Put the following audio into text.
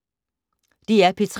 DR P3